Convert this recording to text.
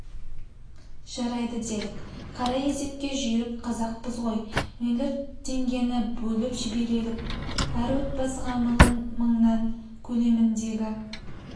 жарайды делік қара есепке жүйрік қазақпыз ғой млрд теңгені бөліп жіберелік әр отбасыға млн мыңның көлеміндегі